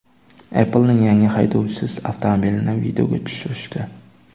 Apple’ning yangi haydovchisiz avtomobilini videoga tushirishdi .